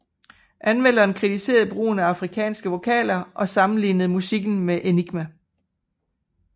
Anmelderen kritiserede brugen af afrikanske vokaler og sammenlignede musikken med Enigma